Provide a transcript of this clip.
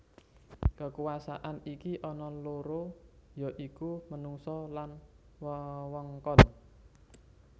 Kekuasaan iki ana loro ya iku menungsa lan wewengkon